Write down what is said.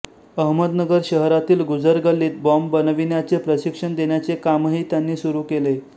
अहमदनगर शहरातील गुजर गल्लीत बाँब बनविण्याचे प्रशिक्षण देण्याचे कामही त्यांनी सुरू केले